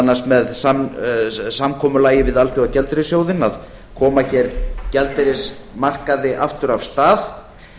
annars með samkomulagi við alþjóðagjaldeyrissjóðinn að koma hér gjaldeyrismarkaði aftur af stað